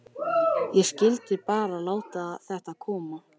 Ég skyldi bara láta þetta koma.